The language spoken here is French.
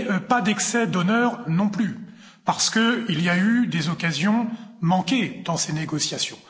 Mais pas d'excès d'honneur non plus, parce qu'il y a eu des occasions manquées dans ces négociations.